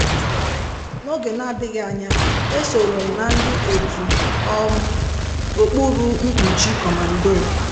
N'oge na adịghị anya, esorom na ndị otu um okpuru mkpuchi comando.